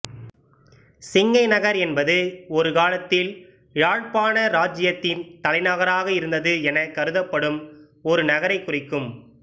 சிங்கைநகர் என்பது ஒருகாலத்தில் யாழ்ப்பாண இராச்சியத்தின் தலைநகராக இருந்தது எனக் கருதப்படும் ஒரு நகரைக் குறிக்கும்